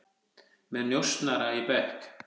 Með njósnara í bekk